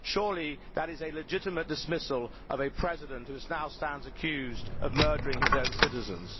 Surely that is a legitimate dismissal of a President who now stands accused of murdering his own citizens?